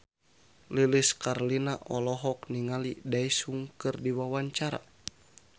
Lilis Karlina olohok ningali Daesung keur diwawancara